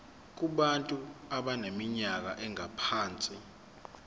kubantu abaneminyaka engaphansi